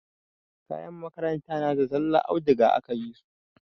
Kayan makaranta na da zallar audiga aka yi su.